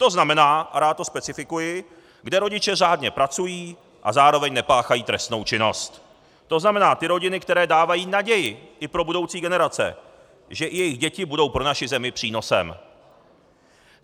To znamená, a rád to specifikuji, kde rodiče řádně pracují a zároveň nepáchají trestnou činnost, to znamená ty rodiny, které dávají naději i pro budoucí generace, že i jejich děti budou pro naši zemi přínosem.